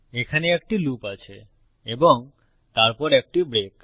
এখানে একটি লুপ আছে এবং তারপর একটি ব্রেক